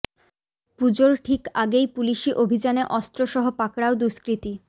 পুজোর ঠিক আগেই পুলিশি অভিযানে অস্ত্র সহ পাকড়াও দুষ্কৃতী